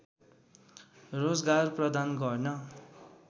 रोजगार प्रदान गर्न